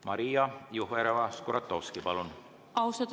Maria Jufereva-Skuratovski, palun!